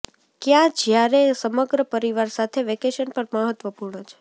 કયા જ્યારે સમગ્ર પરિવાર સાથે વેકેશન પર મહત્વપૂર્ણ છે